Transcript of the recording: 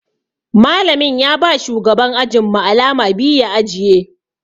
Malamin ya ba shugaban ajin mu alama biyu ya ajiye.